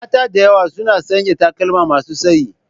Mata da yawa suna sanya takalma masu tsayi.